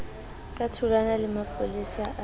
ka tholwana le mapolesa a